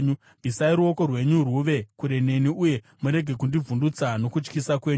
Bvisai ruoko rwenyu rwuve kure neni, uye murege kundivhundutsa nokutyisa kwenyu.